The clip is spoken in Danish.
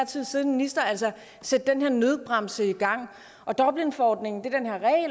tid siddende minister sætte den her nødbremse i gang dublinforordningen